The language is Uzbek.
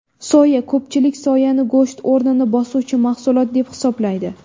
Soya Ko‘pchilik soyani go‘sht o‘rnini bosuvchi mahsulot deb hisoblaydi.